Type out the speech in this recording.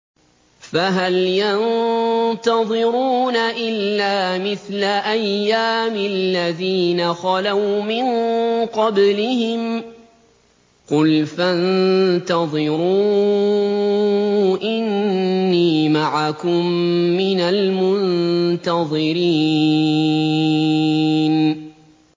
فَهَلْ يَنتَظِرُونَ إِلَّا مِثْلَ أَيَّامِ الَّذِينَ خَلَوْا مِن قَبْلِهِمْ ۚ قُلْ فَانتَظِرُوا إِنِّي مَعَكُم مِّنَ الْمُنتَظِرِينَ